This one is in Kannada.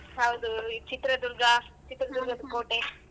ಹೌದು ಈ ಚಿತ್ರದುರ್ಗ ಕೋಟೆ.